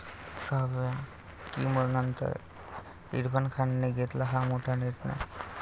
सहाव्या कीमोनंतर इरफान खानने घेतला हा मोठा निर्णय